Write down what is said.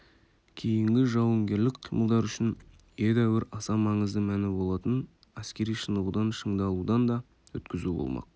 кейінгі жауынгерлік қимылдар үшін едәуір аса маңызды мәні болатын әскери шынығудан шыңдалудан да өткізу болмақ